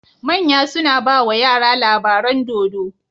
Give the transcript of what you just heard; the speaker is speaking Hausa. Manya suna bawa yara labaran dodo